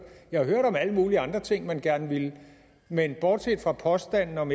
jeg har hørt om alle mulige andre ting man gerne ville men bortset fra påstanden om